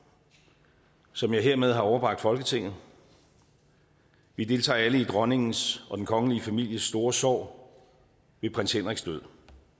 som jeg hermed har overbragt folketinget vi deltager alle i dronningens og den kongelige families store sorg ved prins henriks død